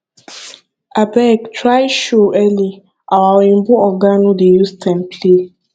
abeg try show early our oyimbo oga no dey use time play